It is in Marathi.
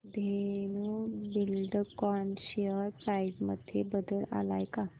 धेनु बिल्डकॉन शेअर प्राइस मध्ये बदल आलाय का